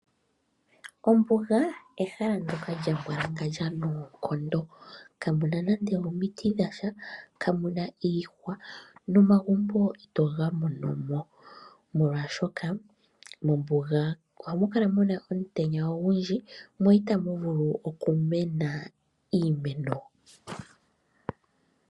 Ombuga ehala ndoka lya mbwalangandja noonkondo, kamuna nande omiti dhasha, kamuna iihwa nomagumbo itoga mono mo oshoka mombuga ohamu kala muna omutenya ogundji mo itamu vulu okumena iimeno.